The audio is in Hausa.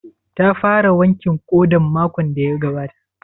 Ta fara wankin ƙodan makon da ya gabata?